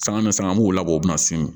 Sanga sanga mugu labɛn o bɛ na siri